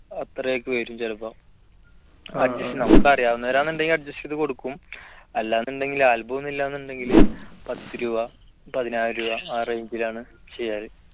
അത്രയൊക്കെ വരും ചിലപ്പം നമുക്കറിയാവുന്ന വരാന്നുണ്ടെങ്കിൽ adjust ചെയ്തു കൊടുക്കും അല്ലാനുണ്ടെങ്കിൽ album ഒന്നുമില്ലാന്നുണ്ടെങ്കിൽ പത്ത് രൂപ പതിനായിരം രൂപ ആ range ലാണ് ചെയ്യേണത്